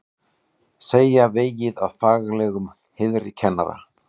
Segja vegið að faglegum heiðri kennara